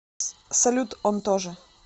салют он тоже